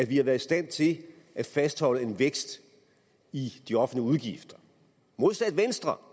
vi været i stand til at fastholde en vækst i de offentlige udgifter modsat venstre